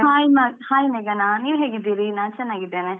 Hai ಮ~ ಮೇಘನಾ ನೀವ್ ಹೇಗಿದೀರಿ? ನಾನ್ ಚೆನ್ನಾಗಿದ್ದೇನೆ.